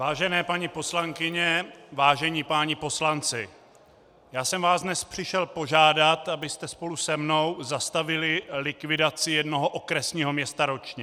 Vážené paní poslankyně, vážení páni poslanci, já jsem vás dnes přišel požádat, abyste spolu se mnou zastavili likvidaci jednoho okresního města ročně.